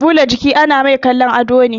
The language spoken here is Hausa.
Ɓula jika ana mai kallon ado ne